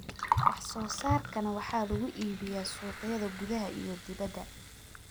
wax soo saarkana waxaa lagu iibiyaa suuqyada gudaha iyo dibadda.